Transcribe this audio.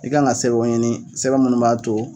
I kan ŋa sɛbɛnw ɲini sɛbɛn minnu b'a to